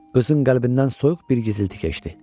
Qızın qəlbindən soyuq bir gizilti keçdi.